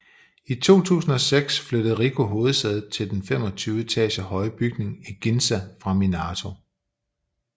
I 2006 flyttede Ricoh hovedsædet til den 25 etager høje bygning i Ginza fra Minato